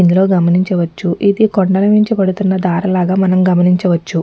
ఇందులో గమనించవచ్చు ఇది కొండల నుంచి పడుతున్న దారలాగా మనం గమనించవచ్చు.